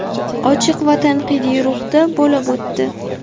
ochiq va tanqidiy ruhda bo‘lib o‘tdi.